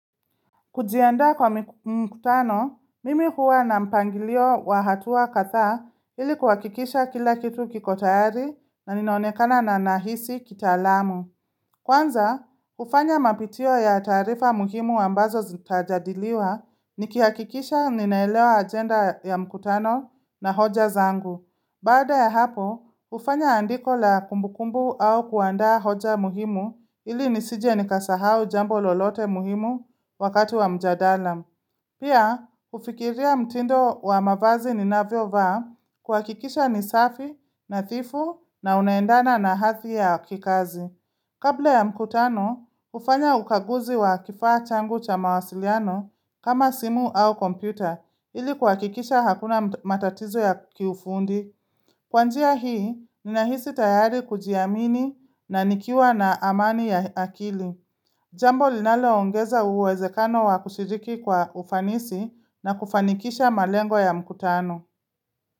Kujianda kwa mkutano, mimi huwa na mpangilio wa hatua kadhaa ili kuhakikisha kila kitu kiko tayari na ninaonekana na nahisi kitalamu. Kwanza, ufanya mapitio ya taarifa muhimu ambazo zitajadiliwa nikihakikisha ninaelewa ajenda ya mkutano na hoja zangu. Baada ya hapo, ufanya andiko la kumbukumbu au kuandaa hoja muhimu ili nisije nikasahau jambo lolote muhimu wakati wa mjadala. Pia, ufikiria mtindo wa mavazi ninavyo vaa kwa kikisha ni safi nadhifu na unaendana na hadhi ya kikazi. Kabla ya mkutano, ufanya ukaguzi wa kifaa changu cha mawasiliano kama simu au kompyuta ili kuhakikisha hakuna matatizo ya kiufundi. Kwa njia hii, ninahisi tayari kujiamini na nikiwa na amani ya akili. Jambo linaloongeza uwezekano wa kushiriki kwa ufanisi na kufanikisha malengo ya mkutano.